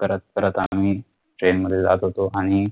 करत करत आम्ही train मध्ये जात होतो आणि